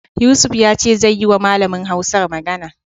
Yusuf ya ce zai yiwa malamin Hausar magana.